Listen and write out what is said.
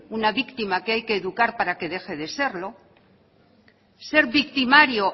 una víctima que hay que educar para que deje de serlo ser victimario